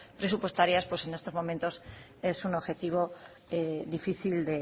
presupuestarias pues en estos momentos es un objetivo difícil